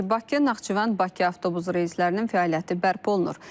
Bakı Naxçıvan Bakı avtobus reyslərinin fəaliyyəti bərpa olunur.